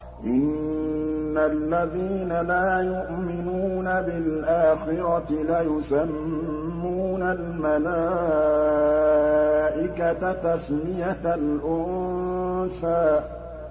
إِنَّ الَّذِينَ لَا يُؤْمِنُونَ بِالْآخِرَةِ لَيُسَمُّونَ الْمَلَائِكَةَ تَسْمِيَةَ الْأُنثَىٰ